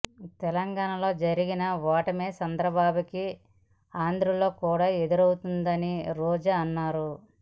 తెలంగాణాలో జరిగిన ఓటమే చంద్రబాబు కి ఆంధ్రలో కూడా ఎదురవుతుందని రోజా అన్నారు